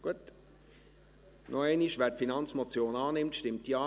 Gut, noch einmal: Wer diese Finanzmotion annimmt, stimmt Ja.